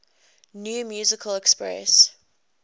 new musical express